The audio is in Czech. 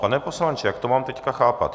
Pane poslanče, jak to mám teď chápat?